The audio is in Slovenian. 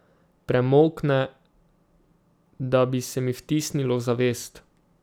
Premolkne, da bi se mi vtisnilo v zavest.